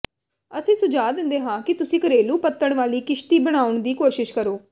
ਅਸੀਂ ਸੁਝਾਅ ਦਿੰਦੇ ਹਾਂ ਕਿ ਤੁਸੀਂ ਘਰੇਲੂ ਪੱਤਣ ਵਾਲੀ ਕਿਸ਼ਤੀ ਬਣਾਉਣ ਦੀ ਕੋਸ਼ਿਸ਼ ਕਰੋ